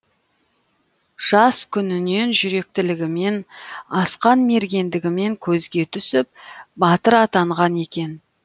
жас күнінен жүректілігімен асқан мергендігімен көзге түсіп батыр атанған екен